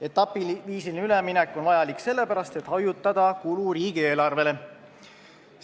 Etapiviisiline üleminek on vajalik sellepärast, et hajutada riigieelarvele tekkivat kulu.